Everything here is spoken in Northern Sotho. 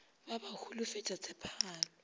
ba ba ba holofetša tshepagalo